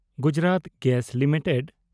Gujarat gas limited